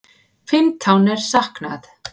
Fimmtán er saknað.